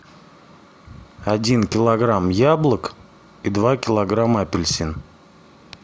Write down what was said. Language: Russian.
один килограмм яблок и два килограмма апельсин